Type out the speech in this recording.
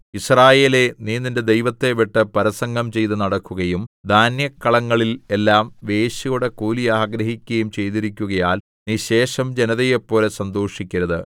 യിസ്രായേലേ നീ നിന്റെ ദൈവത്തെ വിട്ട് പരസംഗം ചെയ്തു നടക്കുകയും ധാന്യക്കളങ്ങളിൽ എല്ലാം വേശ്യയുടെ കൂലി ആഗ്രഹിക്കുകയും ചെയ്തിരിക്കുകയാൽ നീ ശേഷം ജനതയെപ്പോലെ സന്തോഷിക്കരുത്